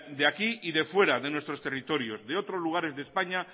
de aquí y de fuera de nuestros territorios de otros lugares de españa